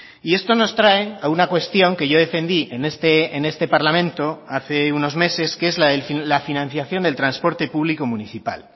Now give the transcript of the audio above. y esto nos trae a una cuestión que yo defendí en este parlamento hace unos meses que es la financiación del transporte público municipal